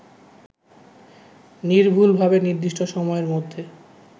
নির্ভুলভাবে নির্দিষ্ট সময়ের মধ্যে